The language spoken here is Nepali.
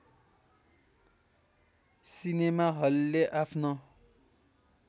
सिनेमा हलले आफ्नो